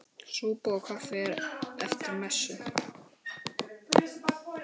Súpa og kaffi eftir messu.